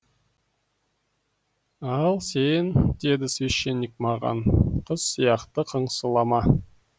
ал сен деді священник маған қыз сияқты қыңсылама